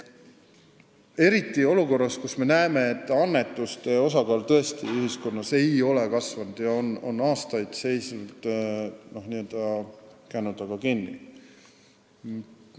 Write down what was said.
Eriti olukorras, kus me näeme, et annetuste osakaal ei ole ühiskonnas tõesti kasvanud, vaid on aastaid n-ö kännu taga kinni seisnud.